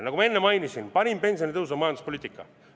Nagu ma enne mainisin, parim pensionitõus on majanduspoliitika.